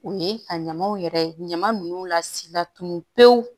O ye ka ɲamaw yɛrɛ ɲama ninnu lasi la tunun pew